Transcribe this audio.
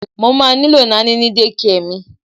Mo má nílò Naní ní dékià mi.